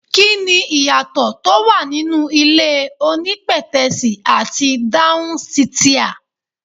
Kí ni ìyàtọ̀ tó wà nínú ilé onípètẹ́sì àti dáhún sìtià?